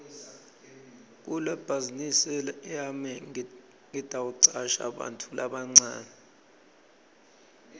kulebhazinisi yami ngitawucasha bantfu labancane